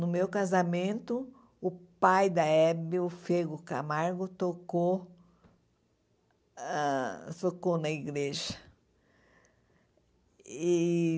No meu casamento, o pai da Hebe, o Fego Camargo, tocou ãh tocou na igreja. E